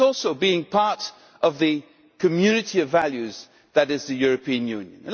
That is also being part of the community of values that is the European Union.